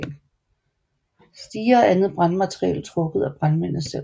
Stiger og andet brandmateriel trukket af brandmændene selv